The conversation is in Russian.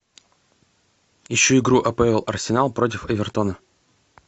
ищу игру апл арсенал против эвертона